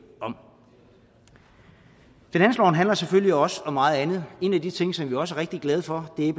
om finansloven handler selvfølgelig også om meget andet en af de ting som vi også er rigtig glade for er